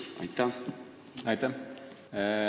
Aitäh!